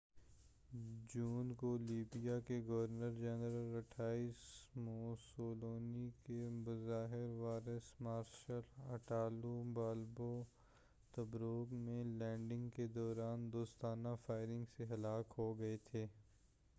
28 جون کو لیبیا کے گورنر جنرل اور مسولینی کے بظاہر وارث مارشل اٹالو بالبو تبروک میں لینڈنگ کے دوران دوستانہ فائرنگ سے ہلاک ہوگئے تھے